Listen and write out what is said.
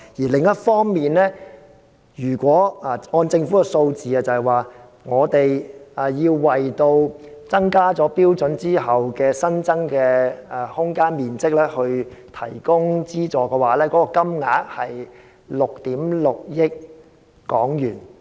另一方面，根據政府的數字，如果我們要為提升標準後的新增面積提供資助，金額是6億 6,000 萬元。